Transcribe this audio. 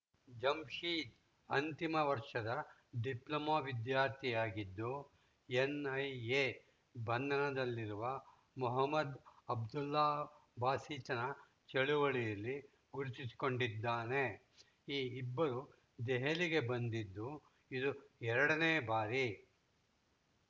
ಜಮ್‌ಶೀದ್‌ ಅಂತಿಮ ವರ್ಷದ ಡಿಪ್ಲೊಮಾ ವಿದ್ಯಾರ್ಥಿಯಾಗಿದ್ದು ಎನ್‌ಐಎ ಬಂಧನದಲ್ಲಿರುವ ಮೊಹಮ್ಮದ್‌ ಅಬ್ದುಲ್ಲಾ ಬಾಸಿತ್‌ನ ಚಳವಳಿಯಲ್ಲಿ ಗುರುತಿಸಿಕೊಂಡಿದ್ದಾನೆ ಈ ಇಬ್ಬರು ದೆಹಲಿಗೆ ಬಂದಿದ್ದು ಇದು ಎರಡನೇ ಬಾರಿ